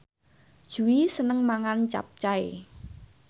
Jui seneng mangan capcay